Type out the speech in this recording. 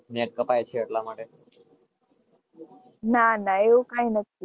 Net કપાય છે એટલા માટે ના ના એવું કઈ નથી.